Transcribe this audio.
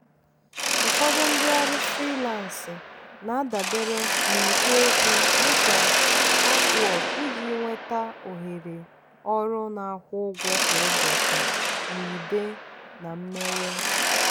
ụfọdụ ndị ọrụ frilansị na-adabere n'ikpo okwu dị ka upwork iji nweta ohere ọrụ na-akwụ ụgwọ kwa ụbọchị na ide na imewe.